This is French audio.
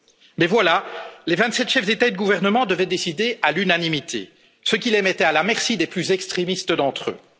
Mais voilà, les vingt sept chefs d'État ou de gouvernement devaient décider à l'unanimité, ce qui les mettait à la merci des plus extrémistes parmi eux.